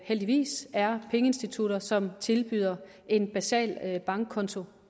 heldigvis er pengeinstitutter som tilbyder en basal bankkonto